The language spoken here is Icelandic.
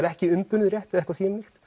ekki umbunað rétt eða eitthvað þvíumlíkt